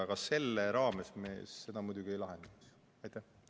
Aga selle raames me seda muidugi ei lahenda.